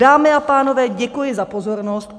Dámy a pánové, děkuji za pozornost.